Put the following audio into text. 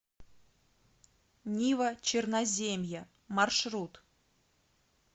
нива черноземья маршрут